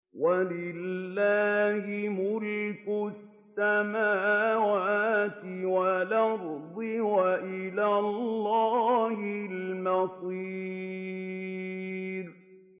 وَلِلَّهِ مُلْكُ السَّمَاوَاتِ وَالْأَرْضِ ۖ وَإِلَى اللَّهِ الْمَصِيرُ